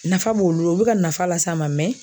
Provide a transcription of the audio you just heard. Nafa b'olu la o bɛ ka nafa las'a ma